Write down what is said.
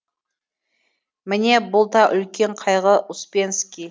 міне бұл да үлкен қайғы успенский